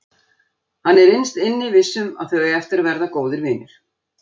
Hann er innst inni viss um að þau eiga eftir að verða góðir vinir.